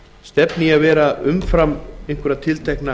stefni í að fara umfram tiltekna